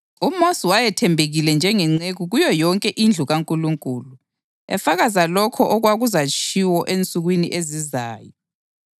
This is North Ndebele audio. “UMosi wayethembekile njengenceku kuyo yonke indlu kaNkulunkulu,” + 3.5 AmaNani 12.7 efakaza lokho okwakuzatshiwo ensukwini ezizayo.